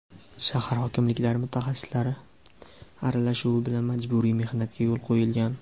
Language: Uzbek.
shahar hokimliklari mutaxassislari aralashuvi bilan majburiy mehnatga yo‘l qo‘yilgan.